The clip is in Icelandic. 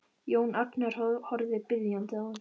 Jón Agnar horfir biðjandi á hann.